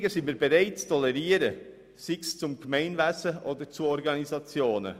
Verschiebungen sind wir bereit zu tolerieren, sei es betreffend das Gemeinwesen, sei es betreffend Organisationen.